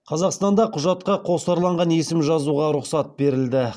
қазақстанда құжатқа қосарланған есім жазуға рұқсат берілді